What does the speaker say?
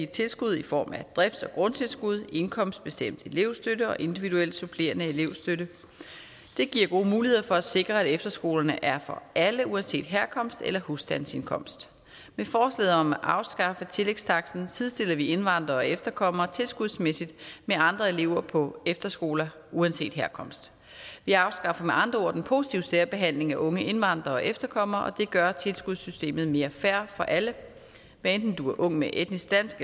tilskud i form af drifts og grundtilskud indkomstbestemt elevstøtte og individuel supplerende elevstøtte det giver gode muligheder for at sikre at efterskolerne er for alle uanset herkomst eller husstandsindkomst med forslaget om at afskaffe tillægstaksten sidestiller vi indvandrere og efterkommere tilskudsmæssigt med andre elever på efterskoler uanset herkomst vi afskaffer med andre ord den positive særbehandling af unge indvandrere og efterkommere og det gør tilskudssystemet mere fair for alle hvad enten du er ung med etnisk dansk